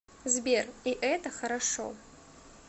сбер и это хорошо